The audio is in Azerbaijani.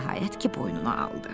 Nəhayət ki, boynuna aldı.